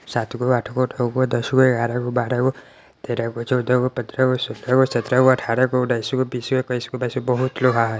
सात गो आठ गो नो गो दस गो ग्यारह गो बाराह गो तेराह गो चोदाह गो पंद्राह गो सोलाह गो सत्रह गो अठारह गो उन्नीस गो बीस गो एक्सिस गो बाइस गो बहुत लोहा हेय।